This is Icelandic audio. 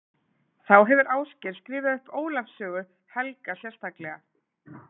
Þá hefur Ásgeir skrifað upp Ólafs sögu helga sérstaklega